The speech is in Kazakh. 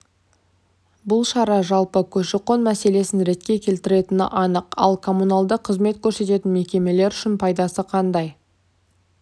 бұл шара жалпы көші-қон мәселесін ретке келтіретіні анық ал коммуналдық қызмет көрсететін мекемелер үшін пайдасы қандай